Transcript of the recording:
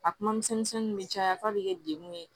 A kuma misɛn misɛnninw bɛ caya f'a bɛ kɛ dekun ye